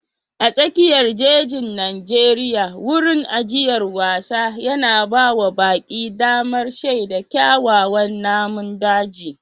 A tsakiyar jejin Najeriya, wurin ajiyar wasan yana ba wa baƙi damar shaida kyawawan namun daji.